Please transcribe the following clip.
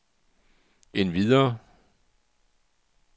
endvidere